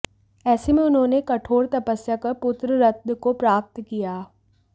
एेसे में उन्होंने कठोर तपस्या कर पुत्र रत्न को प्राप्त किया